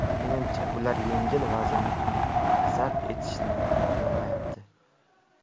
Menimcha, ular yengil vaznni ham zabt etishimni xohlamayapti.